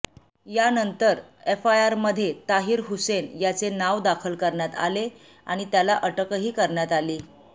यानंतर एफआयआरमध्ये ताहिर हुसैन याचे नाव दाखल करण्यात आले आणि त्याला अटकही करण्यात आली